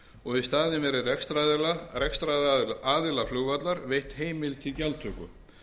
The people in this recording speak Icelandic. og í staðinn verði rekstraraðila flugvallar veitt heimild til gjaldtöku